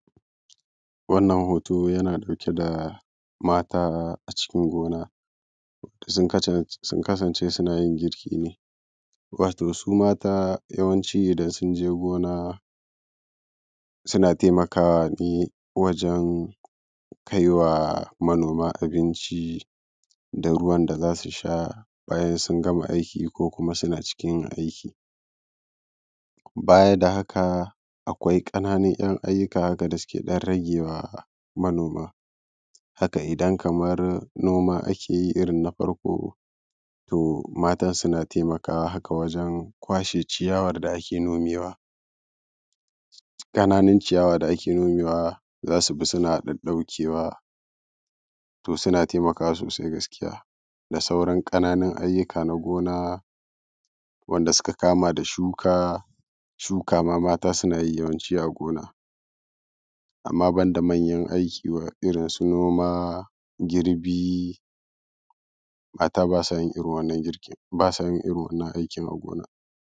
Wannan hooto yana ɗauke da ma:ta a cikin gona. Sun kasance suna yin girki ne, wato su: ma:ta yawanci idan sun je gona suna taimakaawa ne wajen kaiwa manoma abinci da ruwan da za su sha bayan sun gama aiki ko suna cikin yin aiki. Baya da haka akwai 'yan ƙananun ayyuka haka da suke ɗan rageewa manoma. Haka idan kamar noma ake yi irin na farko to maatan suna taimakawa. Haka wajen kwashe ciyawar da ake nome wa ƙananun ciyawa da ake nome wa za su bi suna ɗaɗɗaukewa, to suna taimakawa soosai gaskiya da sauran ƙananun ayyuka naa gona wanda suka kama da shuka shuka ma maata suna yi yawanci a gona, amma ban da manyan aiki irinsu noma, girbi maata baa sa yin irin wannan girkin baa sa yin irin wannan aikin a gona.